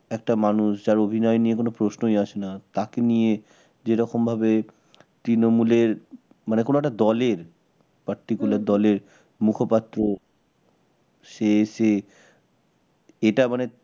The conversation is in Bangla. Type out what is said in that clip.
একটা মানুষ যার অভিনয় নিয়ে কোন প্রশ্নই আসে না তাকে নিয়ে যেরকম ভাবে তৃণমূলের মানে কোন একটা দলের Particular দলের মুখপাত্র সে এসে এটা মানে